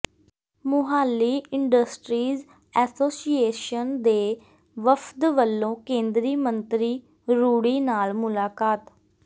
Mohali industries association ਦੇ ਵਫ਼ਦ ਵੱਲੋਂ ਕੇਂਦਰੀ ਮੰਤਰੀ ਰੂਡੀ ਨਾਲ ਮੁਲਾਕਾਤ